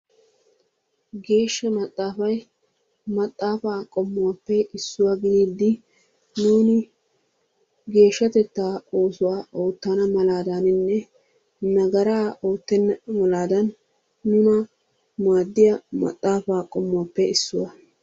Geeshsha maxaafay maxaafa qommuwappe issuwa gidiidi nuuni geeshshatettaa oosuwa ootana malaaddaninne nagara ootenna malaadan nuna maadiya maxaafaa qommuwappe issuwa.